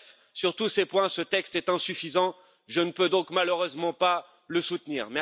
Bref, sur tous ces points, ce texte est insuffisant je ne peux donc malheureusement pas le soutenir.